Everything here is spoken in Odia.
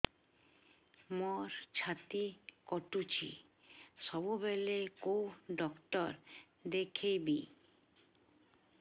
ମୋର ଛାତି କଟୁଛି ସବୁବେଳେ କୋଉ ଡକ୍ଟର ଦେଖେବି